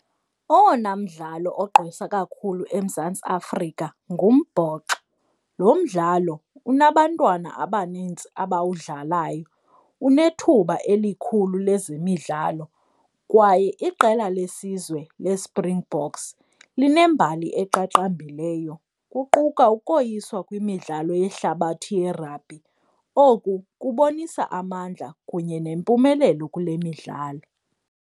Owona mdlalo ogqwesa kakhulu eMzantsi Afrika ngumbhoxo. Lo mdlalo unabantwana abaninzi abawudlalayo, unethuba elikhulu lezemidlalo kwaye iqela lesizwe leSpringboks linembali eqaqambileyo kuquka ukoyiswa kwimidlalo yehlabathi yerabhi. Oku kubonisa amandla kunye nempumelelo kule midlalo.